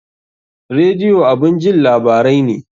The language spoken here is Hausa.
Radio abun jin labarai ne